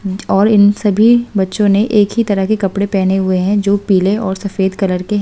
और इन सभी बच्चों ने एक ही तरह के कपड़े पहने हुए हैं जो पीले और सफेद कलर के--